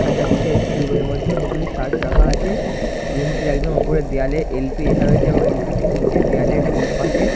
দেখা যাচ্ছে একটি রুমের এর মধ্যে অনেকগুলি শার্ট রাখা আছে। রুমটির একদম উপরে দেয়ালে এল.পি লেখা রয়েছে এবং এল.পি - টির নিচের দেওলের দুই পাশে --